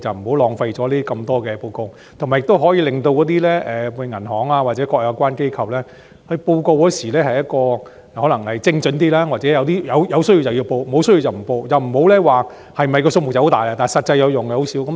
這樣便不用提交這麼多報告，亦可以令銀行或各有關機構在匯報時精準一些，又或在有需要時才匯報，沒有需要則不作匯報，而不是像現時般，報告的宗數很多，但實際有用的卻很少。